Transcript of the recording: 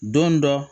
Don dɔ